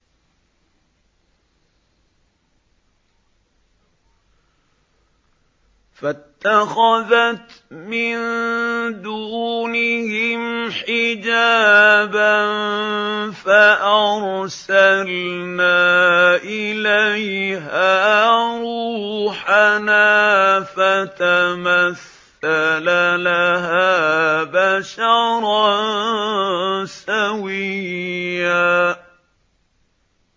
فَاتَّخَذَتْ مِن دُونِهِمْ حِجَابًا فَأَرْسَلْنَا إِلَيْهَا رُوحَنَا فَتَمَثَّلَ لَهَا بَشَرًا سَوِيًّا